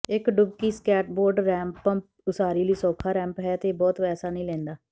ਇੱਕ ਡੁਬਕੀ skateboard ramp ਉਸਾਰੀ ਲਈ ਸੌਖਾ ਰੈਂਪ ਹੈ ਅਤੇ ਇਹ ਬਹੁਤ ਪੈਸਾ ਨਹੀਂ ਲੈਂਦਾ